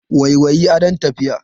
Waiwayi, adon tafiya.